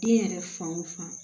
Den yɛrɛ fan o fan